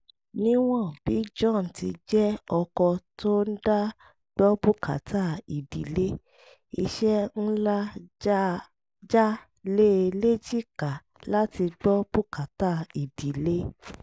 níwọ̀n bí john ti jẹ́ ọkọ tó ń dá gbọ́ bùkátà ìdílé iṣẹ́ ńlá já lé e léjìká láti gbọ́ bùkátà ìdílé